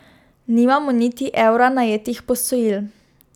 Nimamo niti evra najetih posojil.